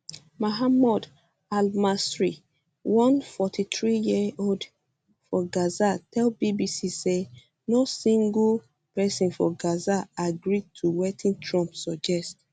mahmoud um almasry um one 43yearold for gaza tell bbc say no single no single pesin for gaza agree to wetin trump suggest